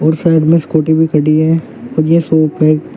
Side में scooty भी खड़ी है और ये शॉप है।